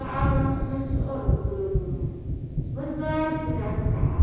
Paɣaba n siɣiri kuligi ŋo bi zaa ʒila taha